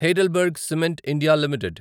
Heidelberg Cement India limited